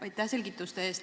Aitäh selgituste eest!